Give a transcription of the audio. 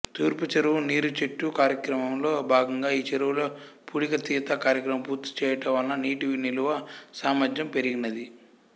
తూర్పు చెరువు నీరుచెట్టు కార్యక్రమంలో భాగంగా ఈ చెరువులో పూడికతీత కార్యక్రమం పూర్తిచేయుట వలన నీటి నిలువ సామర్ధ్యం పెరిగినది